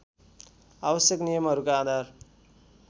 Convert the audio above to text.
आवश्यक नियमहरूका आधार